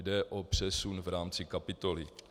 Jde o přesun v rámci kapitoly.